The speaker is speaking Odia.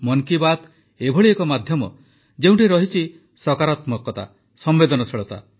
ମନ୍ କି ବାତ୍ ଏଭଳି ଏକ ମାଧ୍ୟମ ଯେଉଁଠି ରହିଛି ସକାରାତ୍ମକତା ସମ୍ବେଦନଶୀଳତା